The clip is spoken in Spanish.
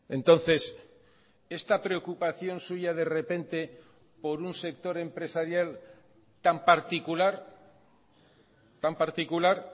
entonces esta preocupación suya de repente por un sector empresarial tan particular tan particular